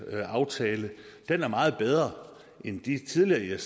aftale den er meget bedre end de tidligere